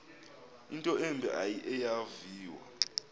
into embi eyaviwa